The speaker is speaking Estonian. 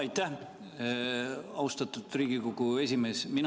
Aitäh, austatud Riigikogu esimees!